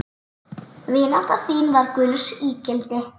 Vinátta þín var gulls ígildi.